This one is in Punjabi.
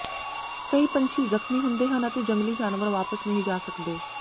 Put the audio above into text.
ਕਈ ਪੰਛੀ ਜ਼ਖਮੀ ਹੁੰਦੇ ਹਨ ਅਤੇ ਜੰਗਲੀ ਜਾਨਵਰ ਵਾਪਸ ਨਹੀਂ ਜਾ ਸਕਦੇ